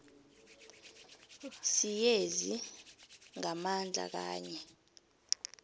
siyezi ngamandla kanye